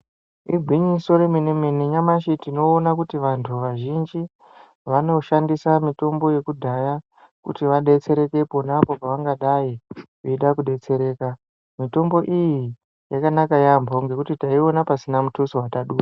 Igwinyiso romene mene nyamashe tinoona kuti vantu vazhinji vanoshandisa mitombo yekudhaya kuti vadetsereke iponapo pavangadai veida kudetsereka, mitombo iyi yakanaka yambo ngekuti taiona pasina mutuso watabuda.